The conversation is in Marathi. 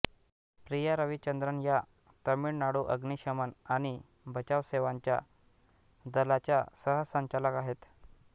प्रिया रविचंद्रन या तामिळनाडू अग्निशमन आणि बचाव सेवांच्या दलाच्या सहसंचालक आहेत